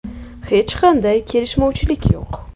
Hech qanday kelishmovchilik yo‘q.